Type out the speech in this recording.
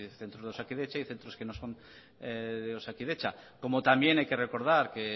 centros de osakidetza y centros que no son de osakidetza como también hay que recordar que